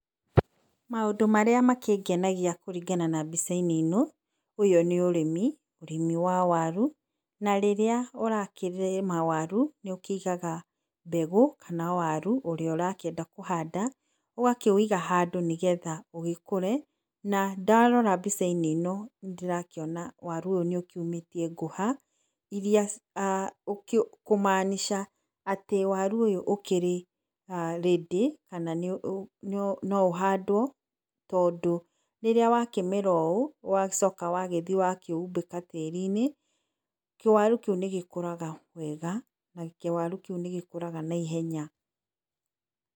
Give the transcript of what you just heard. Maũndũ marĩa makĩngenegia kũringana na mbica-inĩ ĩno ũyũ nĩ ũrĩmi wa waru na rĩrĩa ũrakĩrĩma waru nĩũkĩigaga mbegũ kana waru ũrĩa ũrĩa ũrakĩenda kũhanda ũgakĩwĩiga handũ nĩgetha ũgĩkũre na ndarora mbica-inĩ nĩndĩrakĩona waru ũyũ nĩ ũkiumĩtie ngũha irĩa [ah]kũmaanisha atĩ waru ũyũ ũkĩrĩ ready kana no ũhandwo tondũ rĩrĩa wakĩmera ũũ nĩũcokaga ũgathiĩ ũkaumbĩka tĩrii inĩ kĩwaru kĩu nĩgĩkũraga wega na kĩwaru kĩu nĩgĩkũraga na ihenya.